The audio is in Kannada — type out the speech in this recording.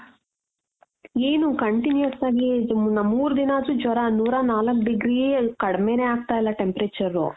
ಏನು continues ಆಗಿ ನ ಮೂರ್ ದಿನ ಆದ್ರೂ ಜ್ವರ ನೂರ ನಾಲ್ಕ್ degree ಯೇ ಕಡ್ಮೇನೆ ಆಗ್ತಾ ಇಲ್ಲ temperature.